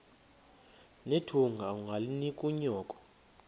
nethunga ungalinik unyoko